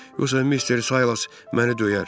Yoxsa Mister Saylas məni döyər.